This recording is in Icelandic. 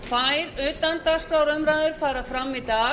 tvær utandagskrárumræður fara fram í dag